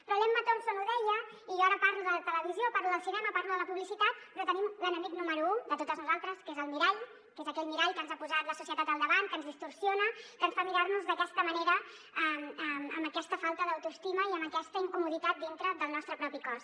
però l’emma thompson ho deia i jo ara parlo de la televisió parlo del cinema parlo de la publicitat però tenim l’enemic número u de totes nosaltres que és el mirall que és aquell mirall que ens ha posat la societat al davant que ens distorsiona que ens fa mirar nos d’aquesta manera amb aquesta falta d’autoestima i amb aquesta incomoditat dintre del nostre propi cos